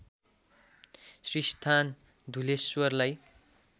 श्रीस्थान धुलेश्वरलाई